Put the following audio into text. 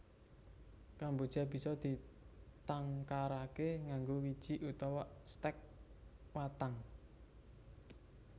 Kemboja bisa ditangkaraké nganggo wiji utawa stèk watang